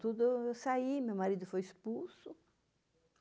Eu saí, meu marido foi expulso.